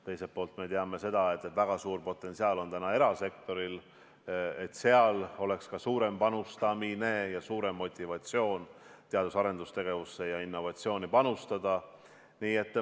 Teiselt poolt me teame, et väga suur potentsiaal on erasektoril, seal võiks ka olla suurem panustamine ning suurem motivatsioon teadus- ja arendustegevusse ja innovatsiooni panustada.